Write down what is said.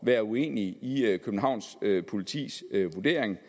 være uenig i københavns politis vurdering